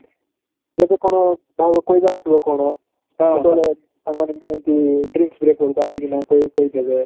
ଯେବେ କଣ କହିବାର ଥିବ କଣ ସେତେବେଳେ ତାଙ୍କମାନେ ନିଅନ୍ତି tea breaks ବେଳକୁ ଆସିକିନା କହି ଦେବେ ଓଃ ହୋ ଆଉ